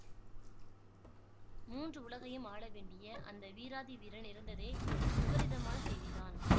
மூன்று உலகையும் ஆள வேண்டிய அந்த வீராதி வீரன் இறந்ததே விபரீதமான செய்திதான்